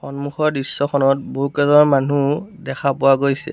সন্মুখৰ দৃশ্যখনত বহুকেজন মানু্হ দেখা পোৱা গৈছে।